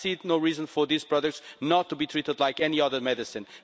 I see no reason for these products not to be treated like any other medicine.